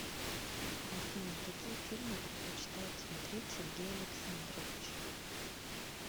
афина какие фильмы предпочитает смотреть сергей александрович